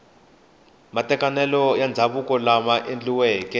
matekanelo ya ndzhavuko lama endliweke